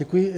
Děkuji.